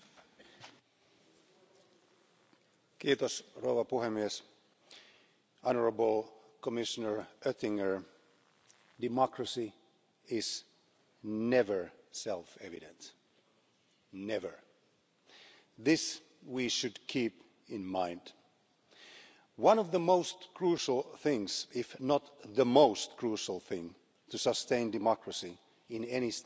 mayor ataque a las cuentas públicas, a la solidaridad y a los valores europeos que la evasión, el fraude y la competencia fiscal desleal. Y por eso me parecía fundamental que esto también fuese uno de los valores, de los criterios que se habían de controlar, examinar y sancionar, si fuera necesario. No podemos hablar de igualdad, de justicia, de solidaridad si miramos para otro lado ante la injusticia fiscal. En nuestras reuniones de preparación